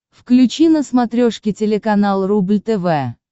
включи на смотрешке телеканал рубль тв